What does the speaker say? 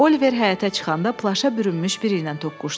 Oliver həyətə çıxanda plaşa bürünmüş biri ilə toqquşdu.